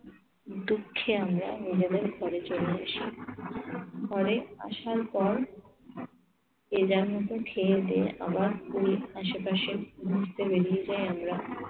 দুঃখে আমরা নিজেদের ঘরে চলে আসি ঘরে আসার পর যে যার মতো খেয়ে দেয়ে আবার পুরীর আশেপাশে ঘুরতে বেরিয়ে যাই আমরা।